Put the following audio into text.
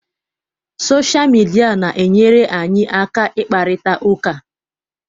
Sọsha mịdia na-enyere anyị aka ịkparịta ụka.